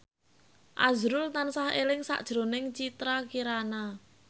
azrul tansah eling sakjroning Citra Kirana